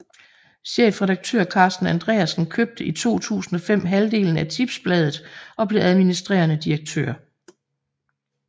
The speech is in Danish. Chefredaktør Carsten Andreasen købte i 2005 halvdelen af Tipsbladet og blev administrerende direktør